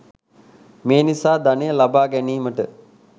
මේ නිසා ධනය ලබා ගැනීමට